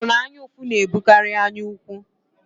Ekworo na anyaụfụ na-ebutekarị anyaukwu.